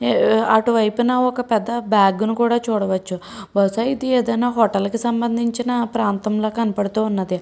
అటు వైపున ఒక పెద్ద బాగ్ ని కూడా చుడవచ్చు బహుస్య ఇది ఏదైనా హోటల్ కి సంబంధిచిన ప్రాంతంలా కనపడుతున్నది.